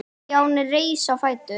Stjáni reis á fætur.